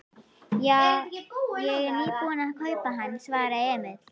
Já, ég er nýbúinn að kaupa hann, svaraði Emil.